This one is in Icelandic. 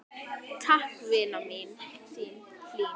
Takk, vina mín, þín Hlín.